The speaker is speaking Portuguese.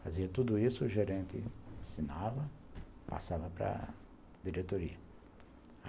Fazia tudo isso, o gerente ensinava, passava para diretoria.